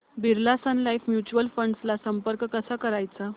Birla sun life mutual fund ला संपर्क कसा करायचा